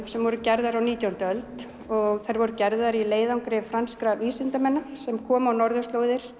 sem voru gerðar á nítjándu öld og þær voru gerðar í leiðangri franskra vísindamanna sem komu á norðurslóðir